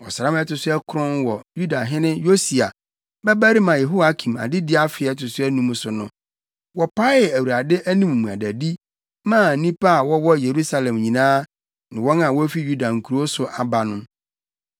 Ɔsram a ɛto so akron wɔ Yudahene Yosia babarima Yehoiakim adedi afe a ɛto so anum so no, wɔpaee Awurade anim mmuadadi maa nnipa a wɔwɔ Yerusalem nyinaa ne wɔn a wofi Yuda nkurow so aba no.